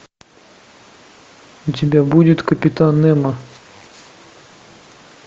у тебя будет капитан немо